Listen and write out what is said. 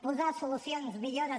posar solucions millores